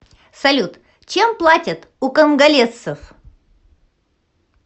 салют чем платят у конголезцев